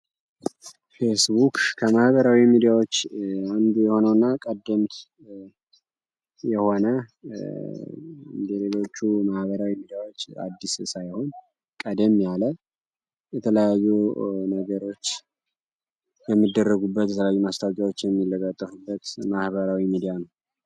ፌስቡክ ከማህበራዊ ሚዲያዎች አንዱ የሆነው እና ቀደምት የሆነ እንደሌሎቹ ማህበራዊ የሚዲያዎች አዲስ ሳይሆን ቀድም ያለ የተለያዩ ነገሮች በሚደረጉበት የተላዩ ማስታብጊያዎች የሚለጋጠፉበት ማህበራዊ ሚዲያ ነው።